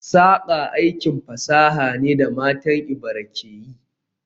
Saƙa aikin fasaha ne da matan Ebira ke yi